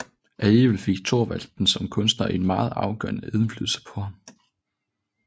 Alligevel fik Thorvaldsen som kunstner en meget afgørende indflydelse på ham